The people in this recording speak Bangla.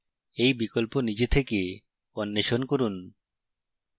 এই বিকল্প নিজে থেকে অন্বেষণ করুন